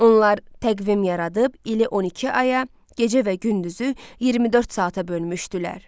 Onlar təqvim yaradıb, ili 12 aya, gecə və gündüzü 24 saata bölmüşdülər.